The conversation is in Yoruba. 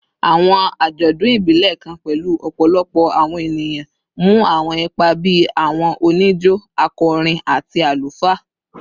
Awọn ajọdun ibilẹ kan pẹlu ọpọlọpọ awọn eniyan mu awọn ipa bii awọn onijo, akọrin, ati alufaa